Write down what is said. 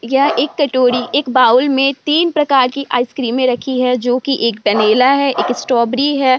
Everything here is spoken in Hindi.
यह एक कटोरी एक बाउल में तीन प्रकार की आइसक्रीमे रखी है जो कि एक वैनिला है एक स्ट्रॉबेरी है।